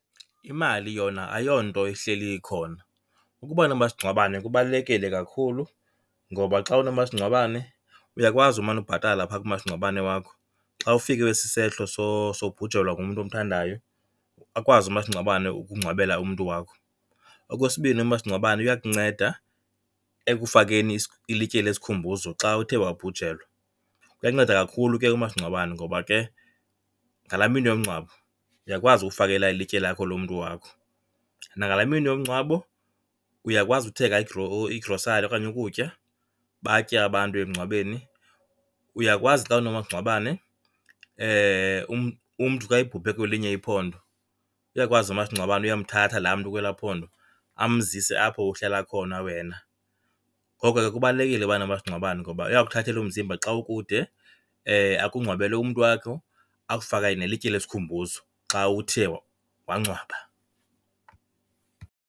Imali yona ayonto ihleli ikhona. Ukuba nomasingcwabane kubalulekile kakhulu ngoba xa unomasingcwabane uyakwazi umane ubhatala pha kumasingcwabane wakho, xa ufikelwe sisehlo sobhujelwa ngumntu omthandayo akwazi umasingcwabane ukungcwabela umntu wakho. Okwesibini, umasingcwabane uyakunceda ekufakeni ilitye lesikhumbuzo xa uthe wabhujelwa. Uyanceda kakhulu ke umasingcwabane ngoba ke ngalaa mini yomngcwabo uyakwazi ukufakela ilitye lakho lomntu wakho. Nangalaa mini yomngcwabo uyakwazi uthenga igrosari okanye ukutya batye abantu emngcwabeni. Uyakwazi xa unomasingcwabane umntu xa ebhubhe kwelinye iphondo, uyakwazi umasingcwabane uyomthatha laa mntu kwelaa phondo amzise apho uhlala khona wena. Ngoko ke kubalulekile ubanomasingcwabane ngoba uyakuthathela umzimba xa ukude, akungcwabela umntu wakho, akufakele nelitye lesikhumbuzo xa uthe wangcwaba.